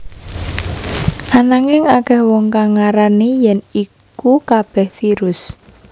Ananging akèh wong kang ngarani yèn iku kabèh virus